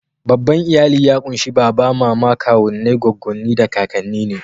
Babban iyali ya ƙunshi baba, mama, kawunnai, goggonni, da kakanni ne.